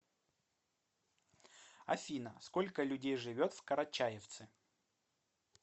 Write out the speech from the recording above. афина сколько людей живет в карачаевцы